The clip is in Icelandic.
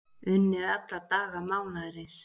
Unnið alla daga mánaðarins